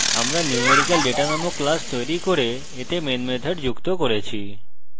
আমরা numericaldata নামক class তৈরি করেছি এবং এতে main method যুক্ত করেছি